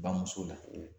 Bamuso la